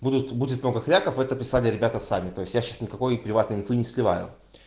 будут будет много хряков это писали ребята сами то есть я сейчас никакой приватной инфы не сливаю